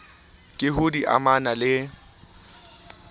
ka ha di amana le